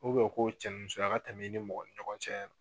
u ko cɛnimusoya ka tɛmɛ i ni mɔgɔ ni ɲɔgɔn cɛ.